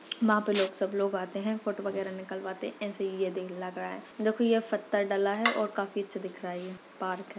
वहा पे लोग सब लोग आते है फोटो वगेरा निकलवाते ऐसे ही ये यदी लग रहा है देखो ये फत्तर डला है। काफी अच्छा लगता है ये पार्क है।